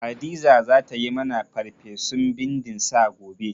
Hadiza za ta yi mani farfesun bindin sa gobe.